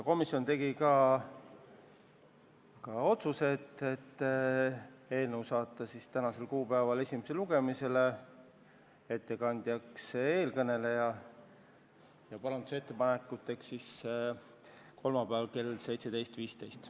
Komisjon tegi ka menetluslikud otsused: saata eelnõu tänaseks kuupäevaks esimesele lugemisele ning määrata ettekandjaks teie ees kõneleja ja parandusettepanekute tähtajaks kolmapäev kell 17.15.